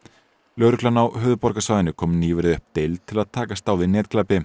lögreglan á höfuðborgarsvæðinu kom nýverið upp deild til að takast á við netglæpi